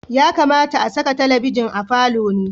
Ya kamata a saka talabijin a falo ne.